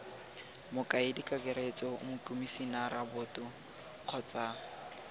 mokaedi kakaretso mokomisinara boto kgotsa